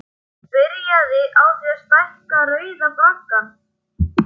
Það er byrjað á því að stækka Rauða braggann.